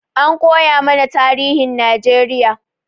An koyamana tarihin Najeriya